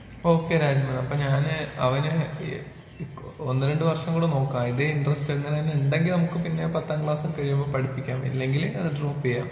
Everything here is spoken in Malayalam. ഓക്കെ രാജ്മോൻ അപ്പൊ ഞാന് അവന് ഈ ഒന്ന് രണ്ട് വർഷം കൂടെ നോക്കാം ഇതേ ഇന്റെരെസ്റ്റ് ഇങ്ങനെ തന്നെ ഉണ്ടെങ്കിൽ നമുക്ക് പിന്നെ പത്താം ക്ലാസ്സ് കഴിയുമ്പോ പഠിപ്പിക്കാം ഇല്ലെങ്കി അത് ഡ്രോപ്പ് ചെയ്യാം.